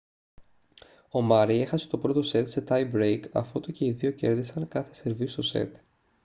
ο μάρεϊ έχασε το πρώτο σετ σε tie break αφότου και οι δύο κέρδισαν κάθε σερβίς στο σετ